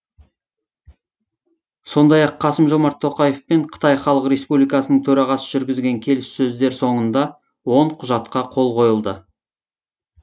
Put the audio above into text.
сондай ақ қасым жомарт тоқаев пен қытай халық республикасының төрағасы жүргізген келіссөздер соңында он құжатқа қол қойылды